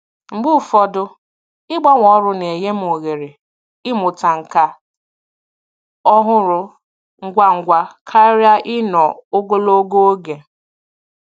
Mgbe ụfọdụ, ịgbanwe ọrụ na-enye m ohere ịmụta nkà ọhụrụ ngwa ngwa karịa ịnọ ogologo oge.